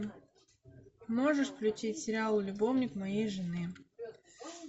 можешь включить сериал любовник моей жены